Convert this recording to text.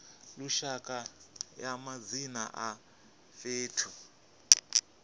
lushaka ya madzina a fhethu